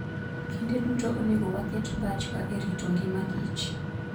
Kinde duto, onego waket pachwa e rito ngimakich.